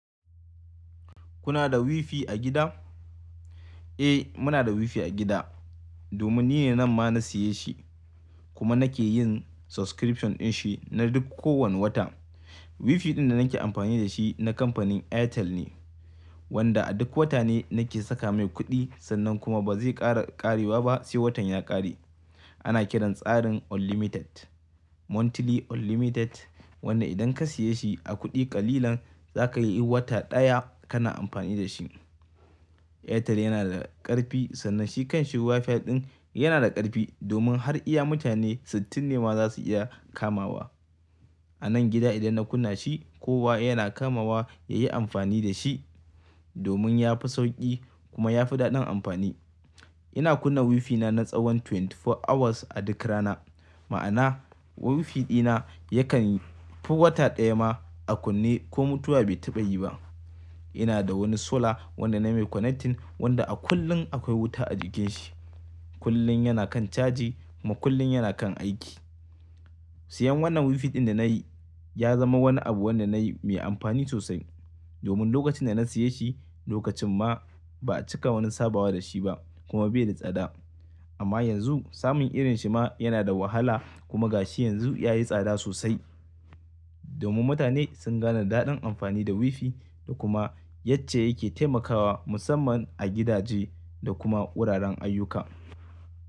Kuna da WiFi a gida? Eh, muna da WiFi a gida domin ni ne nan ma na siya shi kuma nake yin subscription din shi na duk ko wani wata. WiFi ɗin da nake amfani da shi na kamfanin Airtel ne wanda a duk wata ne nake saka mai kuɗi sannan kuma ba zai ƙara ƙarewa ba sai watan ya ƙare. Ana kiran tsarin unlimited, monthly unlimited wanda idan ka siya shi a kuɗi ƙalilan za ka yi wata ɗaya kana amfani da shi. Airtel yana da ƙarfi sannan shi kan WiFi ɗin yana da ƙarfi domin har iya mutane sittin ne ma za su iya kamawa. A nan gida idan na kunna shi kowa yana kamawa ya yi amfani da shi domin ya fi sauƙi kuma ya fi daɗin amfani. Ina kunna WiFi na na tsawon twenty four hours a duk rana. Ma'ana WiFi ɗina yakan yi fi wata ɗaya ma a kunne ko mutuwa bai taɓa yi ba. Ina da wani solar wanda na mai connecting wanda a kullum akwai wuta a jikin shi. Kullum yana kan caji kuma kullum yana kan aiki. Siyan wannan WiFi ɗin da na yi ya zama wani abu wanda na yi mai amfani sosai domin lokacin da na siya shi lokacin ma ba a cika wani sabawa da shi ba kuma bai da tsada. Amma yanzu samun irin shi ma yana da wahala kuma ga shi yanzu ya yi tsada sosai domin mutane sun gane daɗin amfani da WiFi da kuma yace yake taimakawa musamman a gidaje da kuma wuraren ayyuka.